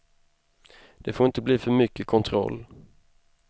Det får inte bli för mycket kontroll.